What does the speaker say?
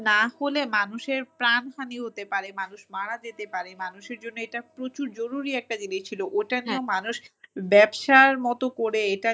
না হলে মানুষের প্রাণহানি হতে পারে, মানুষ মারা যেতে পারে। মানুষের জন্য এটা প্রচুর জরুরি একটা জিনিস ছিল। ওটা নিয়ে মানুষ ব্যবসার মতো করে এটা,